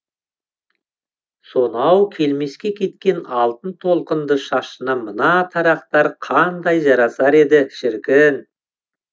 сонау келмеске кеткен алтын толқынды шашына мына тарақтар қандай жарасар еді шіркін